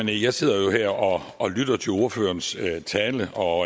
det jeg sidder jo her og og lytter til ordførerens tale og